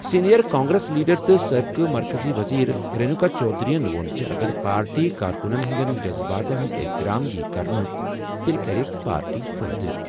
Senior Congress leader تہٕ سٲبقہٕ مرکزی وزیر رینوکا چودھری یَن ووٚن زِ اگر پارٹی کارکُنَن ہٕنٛدٮ۪ن جذباتَن ہُنٛد احترام یِیہِ کرنہٕ تیٚلہِ کَرِ پارٹی فٲیدٕ۔